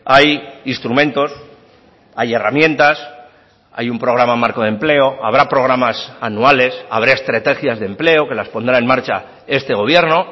hay instrumentos hay herramientas hay un programa marco de empleo habrá programas anuales habrá estrategias de empleo que las pondrá en marcha este gobierno